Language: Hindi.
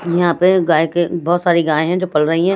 यहाँ पे गाय के बहुत सारी गाय हैं जो पल रही है।